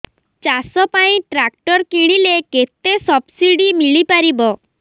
ଚାଷ ପାଇଁ ଟ୍ରାକ୍ଟର କିଣିଲେ କେତେ ସବ୍ସିଡି ମିଳିପାରିବ